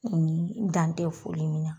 N dan tɛ foli min na.